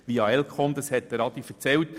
Grossrat Haas hat das bereits erläutert.